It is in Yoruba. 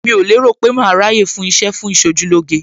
Mi ò lérò pé màá ráyè fún iṣẹ́ fún Ìṣojúlóge.